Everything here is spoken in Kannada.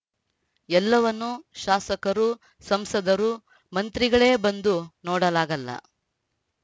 ಎಲ್ಲವನ್ನು ಶಾಸಕರು ಸಂಸದರು ಮಂತ್ರಿಗಳೇ ಬಂದು ನೋಡಲಾಗಲ್ಲ